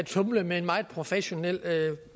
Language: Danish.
tumle med en meget professionel